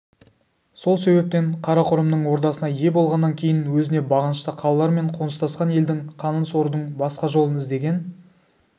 сол себептен қарақұрымның ордасына ие болғаннан кейін өзіне бағынышты қалалар мен қоныстасқан елдің қанын сорудың басқа жолын іздеген